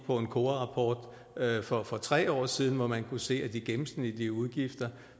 på en kora rapport fra for tre år siden hvor man kunne se at de gennemsnitlige udgifter